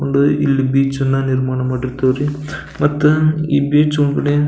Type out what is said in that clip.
ಒಂದು ಇಲ್ಲಿ ಬೀಚ್ ಅನ್ನ ನಿರ್ಮಾಣ ಮಾಡಿರ್ತವ್ ರೀ ಮತ್ತ ಈ ಬೀಚ್ ಒಳಗಡೆ --